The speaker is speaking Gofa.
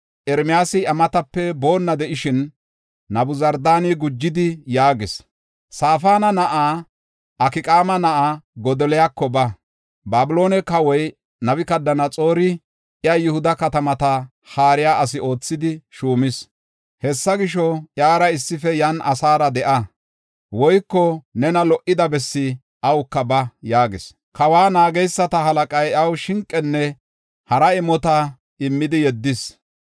Ermiyaasi iya matape boonna de7ishin, Nabuzardaani gujidi yaagis; “Safaana na7aa, Akqaama na7aa Godoliyako ba. Babiloone kawoy Nabukadanaxoori iya Yihuda katamata haariya asi oothidi shuumis. Hessa gisho, iyara issife yan asaara de7a; woyko nena lo77ida bessi awuka ba” yaagis. Kawa naageysata halaqay iyaw shinqenne hara imota immidi yeddis.